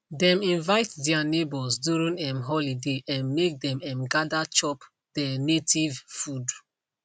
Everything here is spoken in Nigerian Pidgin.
dem invite their neighbors during um holiday um make them um gather chop there native food